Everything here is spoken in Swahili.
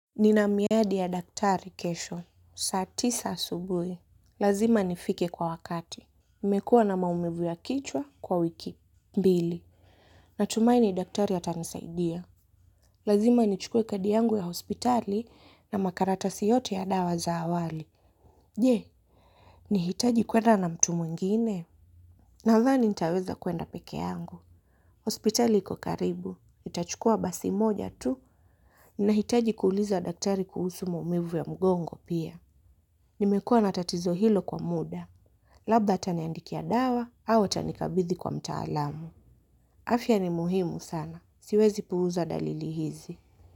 Nina miadi ya daktari kesho, saa tisa asubuhi. Lazima nifike kwa wakati. Nimekuwa na maumivu ya kichwa kwa wiki. Mbili. Natumaini daktari atanisaidia. Lazima nichukue kadi yangu ya hospitali na makaratasi yote ya dawa za awali. Je, nihitaji kwenda na mtu mwingine? Nadhani nitaweza kwenda peke yangu. Hospitali iko karibu. Nitachukua basi moja tu. Ninahitaji kuuliza daktari kuhusu maumivu ya mgongo pia. Nimekua n atatizo hilo kwa muda. Labda ataniandikia dawa au atanikabidhi kwa mtaalamu. Afya ni muhimu sana. Siwezi puuza dalili hizi.